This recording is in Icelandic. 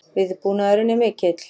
Viðbúnaðurinn er mikill